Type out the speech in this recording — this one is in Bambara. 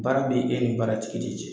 Baara be e ni baara tigi de cɛ